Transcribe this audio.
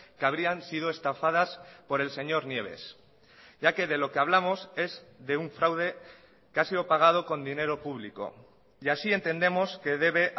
que habrían sido estafadas por el señor nieves ya que de lo que hablamos es de un fraude que ha sido pagado con dinero público y así entendemos que debe